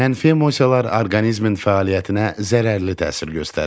Mənfi emosiyalar orqanizmin fəaliyyətinə zərərli təsir göstərir.